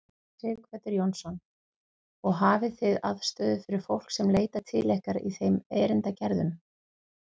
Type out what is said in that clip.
Sighvatur Jónsson: Og hafið þið aðstöðu fyrir fólk sem leitar til ykkar í þeim erindagerðum?